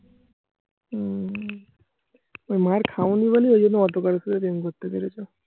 হম মার খাওনি বলে অতো জনের সাথে প্রেম করতে পেরেছো।